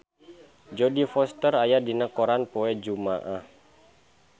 Jodie Foster aya dina koran poe Jumaah